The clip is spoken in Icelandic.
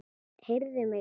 Heyrðu mig annars!